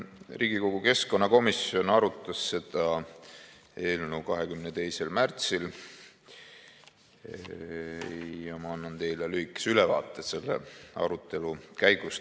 Riigikogu keskkonnakomisjon arutas seda eelnõu 22. märtsil ja ma annan teile lühikese ülevaate selle arutelu käigust.